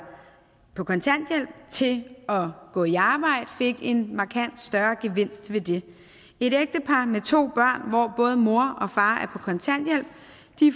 på kontanthjælp til at gå i arbejde fik en markant større gevinst ved det et ægtepar med to børn hvor både mor og far er på kontanthjælp